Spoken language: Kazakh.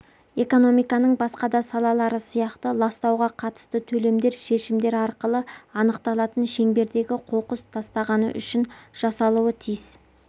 экономиканың басқа да салалары сияқты ластауға қатысты төлемдер шешімдер арқылы анықталатын шеңбердегі қоқыс тастағаны үшін жасалуы тиіс